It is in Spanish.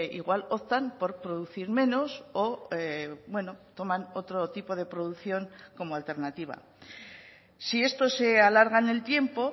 igual optan por producir menos o toman otro tipo de producción como alternativa si esto se alarga en el tiempo